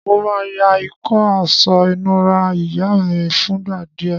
Mo má yá ìkó aso ìnura ìyá mí fúngbà díè